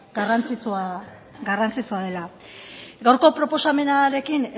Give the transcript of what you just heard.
garrantzitsua dela gaurko proposamenarekin